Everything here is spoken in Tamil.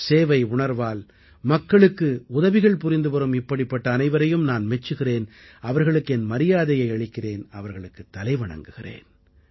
சேவையுணர்வால் மக்களுக்கு உதவிகள் புரிந்துவரும் இப்படிப்பட்ட அனைவரையும் நான் மெச்சுகிறேன் அவர்களுக்கு என் மரியாதையை அளிக்கிறேன் அவர்களுக்குத் தலைவணங்குகிறேன்